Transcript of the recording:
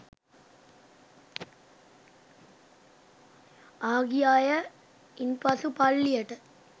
ආ ගිය අය ඉන් පසු පල්ලියට